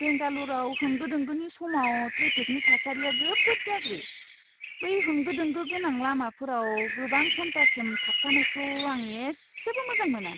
बेंगाल'रआव होंगो दोंगोनि समाव ट्रेफिकनि थासारिया जोबोद गाज्रि। बै होंगो दोंगो गोनां लामाफोराव गोबां घन्टासिम थाबथानायखौ आं इसेबो मोजां मोना!